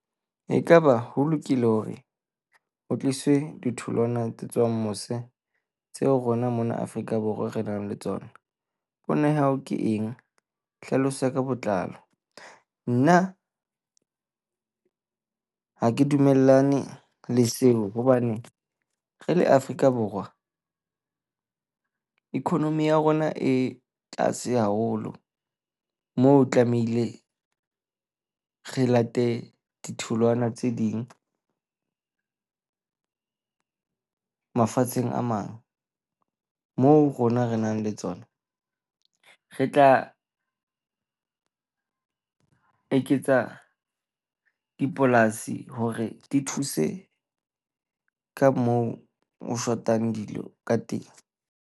Ekaba ho lokile hore o tliswe ditholwana tse tswang mose tseo rona mona Afrika Borwa re nang le tsona? Pono ya hao ke eng? Hlalosa ka botlalo. Nna ha ke dumellane le seo hobane re le Afrika Borwa economy ya rona e tlase haholo moo tlamehile re late ditholwana tse ding mafatsheng a mang. Moo rona re nang le tsona, re tla eketsa dipolasi hore di thuse ka moo ho shotang dilo ka teng.